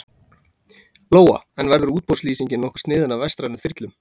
Lóa: En verður útboðslýsingin nokkuð sniðin að vestrænum þyrlum?